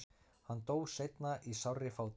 hann dó seinna í sárri fátækt